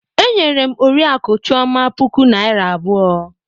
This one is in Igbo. E nyere m Oriakụ Chioma puku Naịra abụọ.